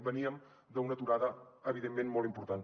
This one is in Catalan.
veníem d’una aturada evidentment molt important